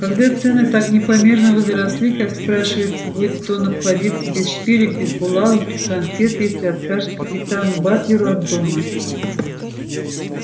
когда цены так непомерно возросли как спрашивается будет он обходиться без шпилек без булавок без конфет если откажет капитану батлеру от дома